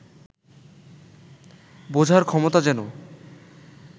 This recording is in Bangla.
বোঝার ক্ষমতা যেন